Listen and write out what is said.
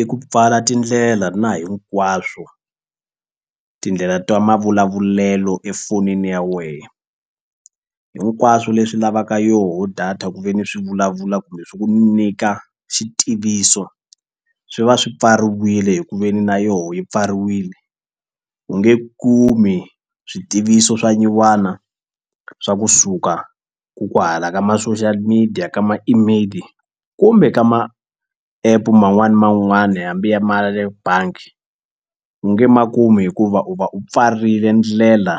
I ku pfala tindlela na hinkwaswo tindlela ta mavulavulelo efonini ya wehe hinkwaswo leswi lavaka yoho data ku ve ni swi vulavula kumbe swi ku nyika xitiviso swi va swi pfariwile hi ku veni na yoho yi pfariwile u nge kumi switiviso swa nyuwana swa kusuka ko kwahala ka ma-social media ka ma-email kumbe ka ma-app man'wani ni man'wani hambi ya ma ya le bangi u nge ma kumi hikuva u va u pfarile ndlela